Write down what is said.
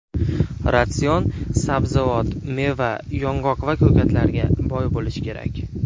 Ratsion sabzavot, meva, yong‘oq va ko‘katlarga boy bo‘lishi kerak.